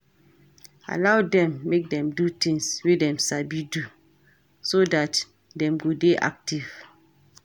Allow dem make dem do things wey dem sabi do, so dat dem go dey active